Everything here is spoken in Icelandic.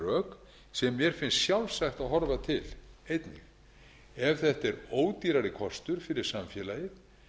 rök sem mér finnst sjálfsagt að horfa til einnig ef þetta er ódýrari kostur fyrir samfélagið